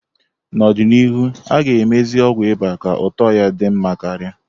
N'ọdịnihu, a ga-emezi ọgwụ ịba ka ụtọ ya di nma karia.